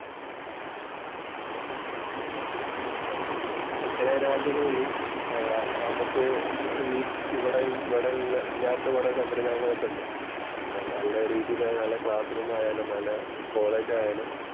ചെല രാജ്യങ്ങളില് ആഹ് നമുക്ക് ഈ ഇവിടെയുള്ള ഇല്ലാത്ത കൊറേ സമ്പ്രദായങ്ങള്‍ ഒക്കെ ഉണ്ട്. അപ്പൊ നല്ല രീതിയിലായാലും, നല്ല രീതിയില്, നല്ല ക്ലാസ്സ്‌ റൂം ആയാലും, നല്ല കോളേജ് ആയാലും